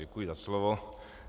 Děkuji za slovo.